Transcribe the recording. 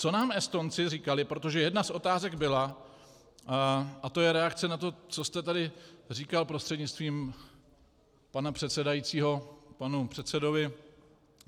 Co nám Estonci říkali, protože jedna z otázek byla - a to je reakce na to, co jste tady říkal, prostřednictvím pana předsedajícího panu předsedovi.